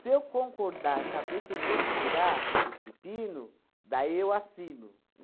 Se eu concordar, saber que eu vou segurar os pepinos, daí eu assino.